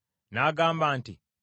N’agamba nti,